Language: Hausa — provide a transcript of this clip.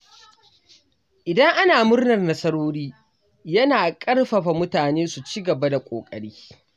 Idan ana murnar nasarori, yana ƙarfafa mutane su ci gaba da ƙoƙari.